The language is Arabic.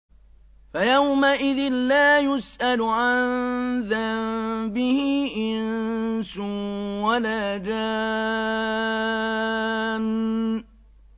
فَيَوْمَئِذٍ لَّا يُسْأَلُ عَن ذَنبِهِ إِنسٌ وَلَا جَانٌّ